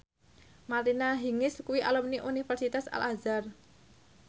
Martina Hingis kuwi alumni Universitas Al Azhar